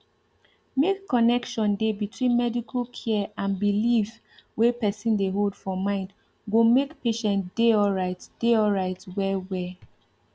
make connection dey between medical care and belief wey person dey hold for mind go make patient dey alright dey alright well well